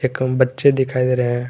कम बच्चे दिखाए रहे हैं।